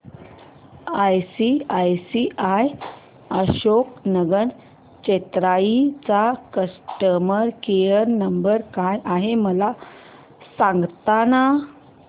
ICICI Ashok Nagar Chennai चा customer care number काय आहे मला सांगाना